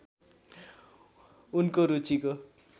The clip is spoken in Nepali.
उनको रुचिको